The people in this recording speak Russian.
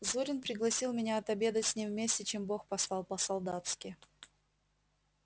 зурин пригласил меня отобедать с ним вместе чем бог послал по-солдатски